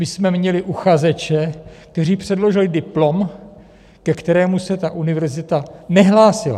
My jsme měli uchazeče, kteří předložili diplom, ke kterému se ta univerzita nehlásila.